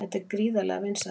Þetta er gríðarlega vinsælt